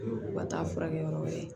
U ka taa furakɛ yɔrɔ wɛrɛ